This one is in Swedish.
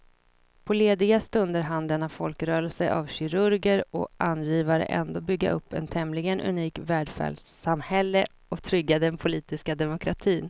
På lediga stunder hann denna folkrörelse av kirurger och angivare ändå bygga upp ett tämligen unikt välfärdssamhälle och trygga den politiska demokratin.